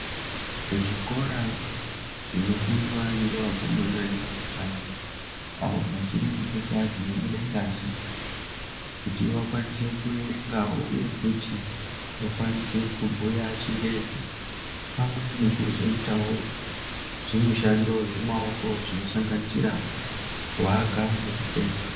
Zvikora zvinofundwa ngeakomana ngevasikana avo vachiri kuchekwa dzinobude ngazi kuti vakwanise kuerenga uye futi kuti vakwanise kubhuya chingezi pamwe nekuzoitawo zvimushando zvemaoki zvinosanganisira kuaka nekutsetsa.